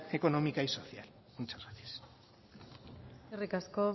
económica y social muchas gracias eskerrik asko